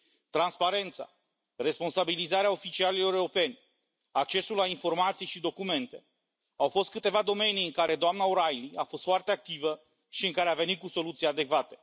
Transparența, responsabilizarea oficialilor europeni, accesul la informații și documente au fost câteva domenii în care doamna O'Reilly a fost foarte activă și în care a venit cu soluții adecvate.